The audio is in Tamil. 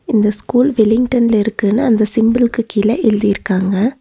இந்த ஸ்கூல் வில்லிங்டன்ல இருக்குன்னு அந்த சிம்புள்க்கு கீழ எழுதிருக்காங்க.